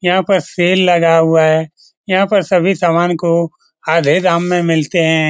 यहाँ पर सेल लगा हुआ है यहाँ पर सभी सामान को आधे दाम में मिलते हैं।